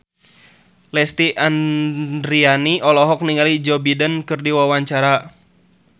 Lesti Andryani olohok ningali Joe Biden keur diwawancara